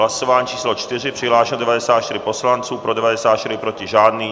Hlasování číslo 4, přihlášeno 94 poslanců, pro 94, proti žádný.